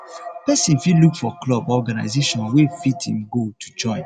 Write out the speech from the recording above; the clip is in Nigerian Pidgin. person fit look for club or organization wey fit im goal to join